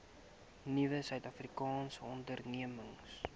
nuwe suidafrikaanse ondernemings